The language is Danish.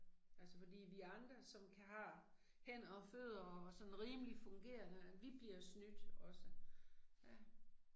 Altså fordi vi andre som har hænder og fødder og sådan rimelig fungerende vi bliver snydt også, ja